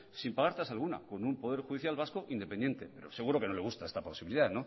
sin pagar tasa alguna con un poder judicial vasco independiente pero seguro que no le gusta esta posibilidad